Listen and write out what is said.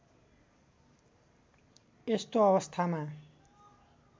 यस्तो अवस्थामा